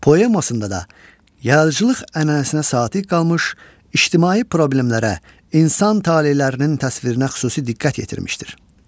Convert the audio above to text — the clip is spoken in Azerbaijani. Poemasında da yaradıcılıq ənənəsinə sadiq qalmış, ictimai problemlərə, insan talelərinin təsvirinə xüsusi diqqət yetirmişdir.